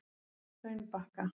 Hraunbakka